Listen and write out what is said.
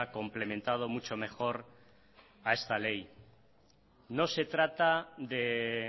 complementado mucho mejor a esta ley no se trata de